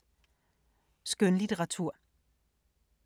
Skønlitteratur